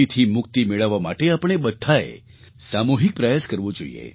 થી મુક્તિ મેળવવા માટે આપણે બધાએ સામૂહિક પ્રયાસ કરવો જોઈશે